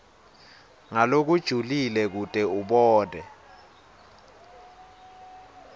ngalokujulile kute abone